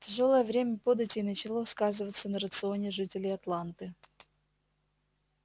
тяжёлое время податей начало сказываться на рационе жителей атланты